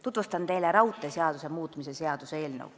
Tutvustan teile raudteeseaduse muutmise seaduse eelnõu.